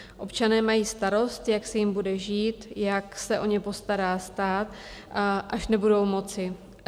Občané mají starost, jak se jim bude žít, jak se o ně postará stát, až nebudou moci.